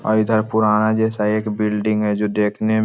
और इधर पुराना जैसा एक बिल्डिंग है जो देखने में--